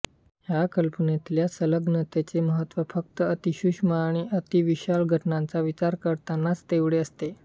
ह्या कल्पनेतल्या संलग्नतेच़े महत्त्व फक्त अतिसूक्ष्म आणि अतिविशाल घटनांच़ा विचार करतानाच़ तेवढे असते